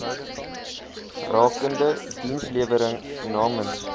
rakende dienslewering namens